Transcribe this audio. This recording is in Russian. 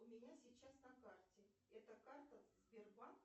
у меня сейчас на карте это карта сбербанк